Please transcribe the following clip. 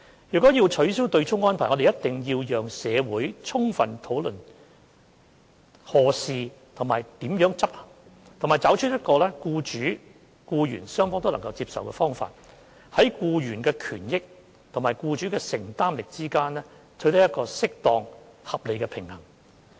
若要取消對沖安排，我們必須讓社會充分討論何時和如何執行，並找出一個僱主和僱員雙方都能接受的方法，在僱員的權益和僱主的承擔能力之間，取得適當、合理的平衡。